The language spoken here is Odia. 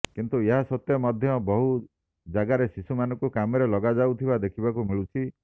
କିନ୍ତୁ ଏହା ସତ୍ତ୍ୱେ ମଧ୍ୟ ବହୁ ଜାଗରେ ଶିଶୁମାନଙ୍କୁ କାମରେ ଲଗାଯାଉଥିବା ଦେଖିବାକୁ ମିଳୁଛି